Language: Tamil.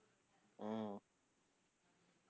உம்